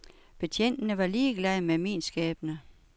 Betjentene var ligeglade med min skæbne.